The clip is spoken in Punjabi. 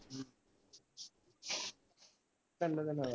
ਤਿਨ ਦਿਨਾਂ ਦਾ